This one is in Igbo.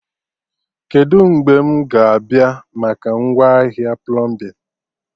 Kedụ mgbe mụ ga-abịa maka ngwaahịa plọmbin?